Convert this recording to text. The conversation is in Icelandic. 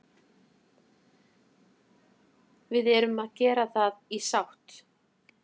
Við erum að gera það í sátt